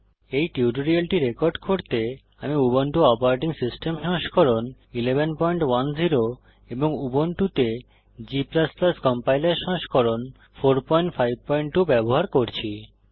এই টিউটোরিয়ালটি রেকর্ড করতে আমি উবুন্টু অপারেটিং সিস্টেম সংস্করণ 1110 এবং উবুন্টুতে G কম্পাইলার সংস্করণ 452 ব্যবহার করছি